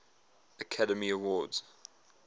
academy awards